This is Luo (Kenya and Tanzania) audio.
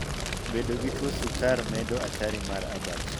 Bedo gi tuo sukar medo atari mar abach.